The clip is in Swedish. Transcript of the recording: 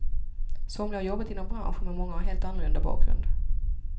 Somliga har jobbat inom branschen, men många har helt annorlunda bakgrund.